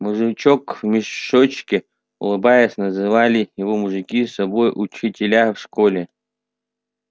мужичок в мешочке улыбаясь называли его мужики собой учителя в школе